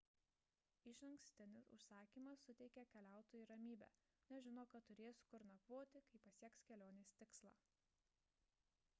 išankstinis užsakymas suteikia keliautojui ramybę nes žino kad turės kur nakvoti kai pasieks kelionės tikslą